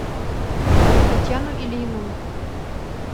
татьяну ильину